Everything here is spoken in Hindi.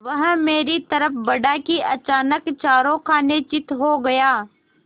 वह मेरी तरफ़ बढ़ा कि अचानक चारों खाने चित्त हो गया